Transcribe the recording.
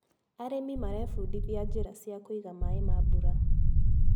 Arĩmi marebundithia njĩra cia kũiga maĩ ma mbura.